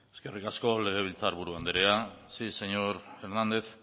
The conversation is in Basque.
eskerrik asko legebiltzar buru andrea si señor hernández